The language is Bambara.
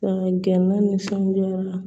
Ka gɛnɛ ni sanji la